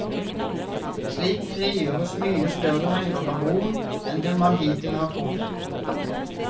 Slik frigjøres mye større mengder karbon enn det man hittil har trodd.